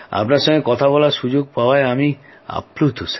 আপনার সঙ্গে কথা বলার সুযোগ পাওয়ায় আমি আপ্লুত